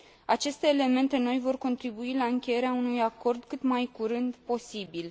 Aceste elemente noi vor contribui la încheierea unui acord cât mai curând posibil.